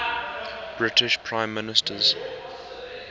british prime ministers